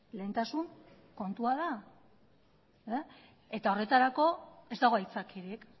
lehentasun kontua da eta horretarako ez dago haitzakirik